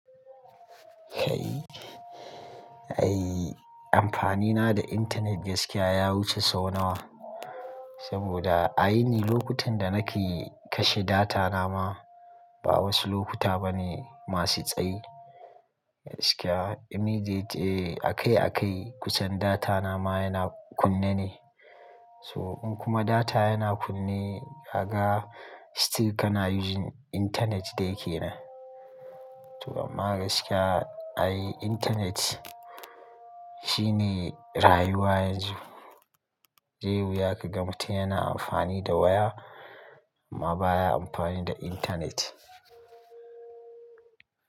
Kai, ai amfani na da internet gaskiya ya wuce sau nawa. Saboda a yini lokutan da nake kashe data na ma ba wasu lokuta ba ne masu tsayi. Gaskiya immediate akai-akai kusan data na ma yana kunne ne. So in kuma data yana kunne, kaga still kana using internet dai ke nan. To amma gaskiya ai internet shine rayuwa yanzu. Je wuya ka ga mutum yana amfani da waya amma baya amfani da internet.